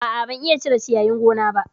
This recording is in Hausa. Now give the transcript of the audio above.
A'a, ban iya cire ciyayin gona ba